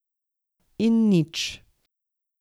In nič.